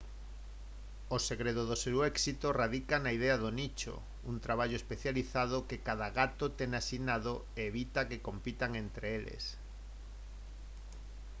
o segredo do seu éxito radica na idea do nicho un traballo especializado que cada gato ten asignado e evita que compitan entre eles